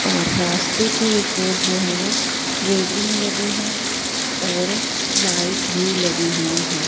और रास्ते के एक ओर जो है वो रेलिंग लगी है और लाइट भी लगी हुई है।